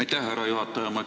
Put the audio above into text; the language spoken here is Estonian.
Aitäh, härra juhataja!